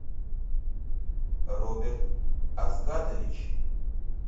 роберт азгатович